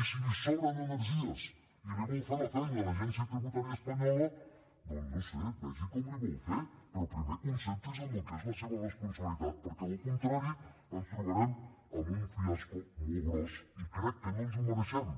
i si li sobren energies i li vol fer la feina a l’agència tributària espanyola doncs no ho sé vegi com l’hi vol fer però primer concentri’s en el que és la seva responsabilitat perquè del contrari ens trobarem amb un fiasco molt gros i crec que no ens ho mereixem